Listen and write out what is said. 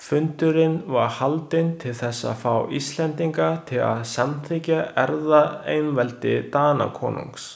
Fundurinn var haldinn til þess að fá Íslendinga til að samþykkja erfðaeinveldi Danakonungs.